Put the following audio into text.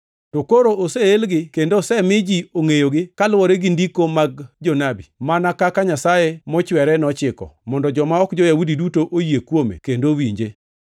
to koro oseelgi kendo osemi ji ongʼeyogi kaluwore gi ndiko mag jonabi, mana kaka Nyasaye mochwere nochiko, mondo joma ok jo-Yahudi duto oyie kuome kendo owinje.